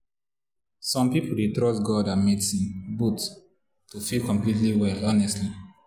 some people dey trust god and medicine both to feel completely well honestly.